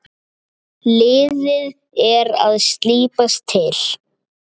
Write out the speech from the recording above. Liðið er að slípast til.